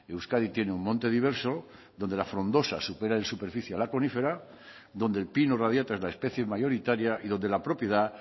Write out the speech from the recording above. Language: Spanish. euskadi tiene un monte diverso donde la frondosa supera en superficie a la conífera donde el pino radiata es la especie mayoritaria y donde la propiedad